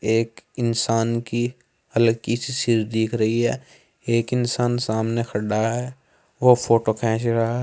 एक इंसान की हल्की सी सिर दिख रही है। एक इंसान सामने खडा है। वो फोटो खेंच रहा --